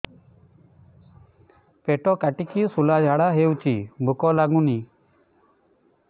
ପେଟ କାଟିକି ଶୂଳା ଝାଡ଼ା ହଉଚି ଭୁକ ଲାଗୁନି